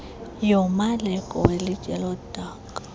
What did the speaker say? yomaleko welitye lodaka